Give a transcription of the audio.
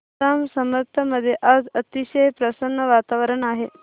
जांब समर्थ मध्ये आज अतिशय प्रसन्न वातावरण आहे